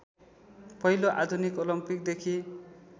पहिलो आधुनिक ओलम्पिकदेखि